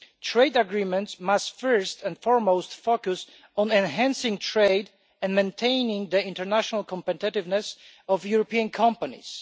Trade agreements must first and foremost focus on enhancing trade and maintaining the international competitiveness of European companies.